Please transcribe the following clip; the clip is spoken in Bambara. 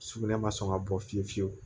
Sugunɛ ma sɔn ka bɔ fiyewu fiyewu